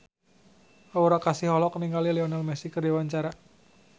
Aura Kasih olohok ningali Lionel Messi keur diwawancara